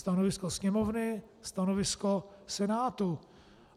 Stanovisko Sněmovny, stanovisko Senátu.